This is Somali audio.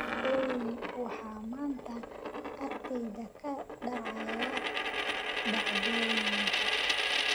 olly waxa maanta agteyda ka dhacaya dhacdooyinka